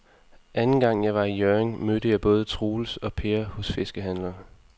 Anden gang jeg var i Hjørring, mødte jeg både Troels og Per hos fiskehandlerne.